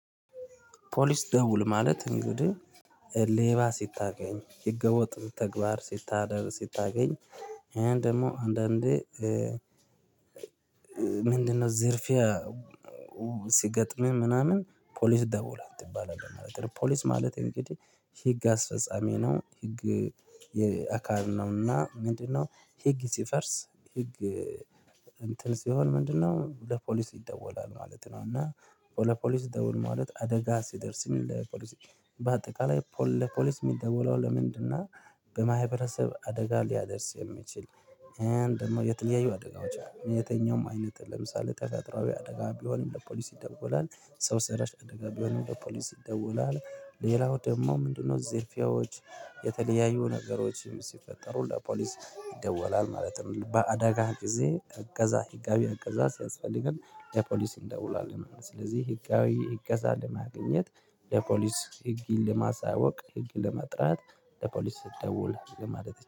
ፖሊስ ደውል ማለት እንግዲህ ሌባ ሲታገኝ ህገ ወጥ ተግባር ሲታደር ስታገኝ። ይሄን ደግሞ አንዳንዴ ምንድን ነው ዝርፊያ? ሲገጥምህ ምናምን ፖሊስ ደውል አትባልም ማለት ነው። ፖሊስ ማለት እንግዲህ ህግ አስፈጻሚ ነው። ህግ የአካል ነውና ምንድነው ህግ ሲፈርስ ህግ እንትን ሲሆን ምንድነው ለፖሊስ ይደወላል ማለት ነው። እና ለፖሊስ ደውል ማለት አደጋ ሲደርስ የሚል ለፖሊስ በአጠቃላይ ለፖሊስ ሚደወለው ለምንድን ነው? በማህበረሰብ አደጋ ሊያደርስ የሚችል። ደግሞ የት ያየው አደጋዎች የትኛውም አይነት ለምሳሌ ተጠፈጥሮአዊ አደጋ ቢሆንም ለፖሊስ ይደውላል ሰው ሰራሽ አደጋ ቢሆንም ለፖሊስ ይደውላል። ሌላው ደግሞ ምንድን ነው? ዝርፊያዎች የተለያዩ ነገሮችም ሲፈጠሩ ለፖሊስ ይደወላል ማለት ነው። በአደጋህ ጊዜ እገዛ ህጋዊ እገዛ ሲያስፈልግም ለፖሊስ እንደውላለን ማለት ነው። ስለዚህ ህጋዊ እገዛ ለማግኘት ለፖሊስ ህግ ለማሳወቅ ህግ ለመጥራት ለፖሊስ ደውል ለማለት